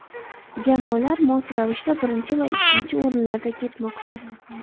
Jamoalar mos ravishda birinchi va ikkinchi o‘rinlarda ketmoqda.